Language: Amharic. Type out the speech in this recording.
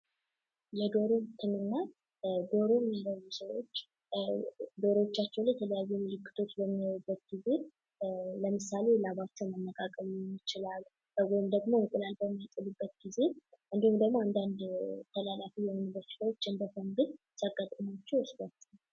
የዶሮ ህክምና በዶሮ በሽታዎች በዶሮ ላይ የተለያዩ ምልክቶች በሚኖሩበት ጊዜ ለምሳሌ ላባቸው መነቃቀል ሊሆን ይችላል እንቁላል በሚጥሉበት ጊዜ ወይም ደግሞ አንዳንድ ተላላፊ በሽታዎች ለማከም ባለሙያዎች ይሠራሉ።